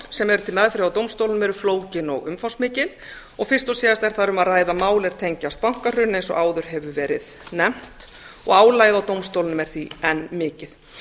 sem eru til meðferðar á dómstólum eru flókin og umfangsmikil og fyrst og síðast er þar um að ræða mál sem tengjast bankahruni eins og áður hefur verið nefnt og álagið á dómstólunum er því enn mikið